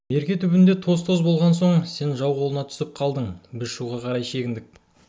мерке түбінде тоз-тоз болған соң сен жау қолына түсіп қалдың біз шуға қарай шегіндік